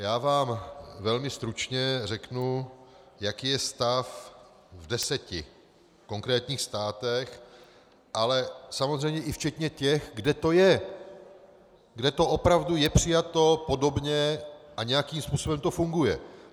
Já vám velmi stručně řeknu, jaký je stav v deseti konkrétních státech, ale samozřejmě i včetně těch, kde to je, kde to opravdu je přijato podobně a nějakým způsobem to funguje.